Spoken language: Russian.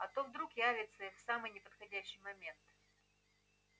а то вдруг явятся и в самый неподходящий момент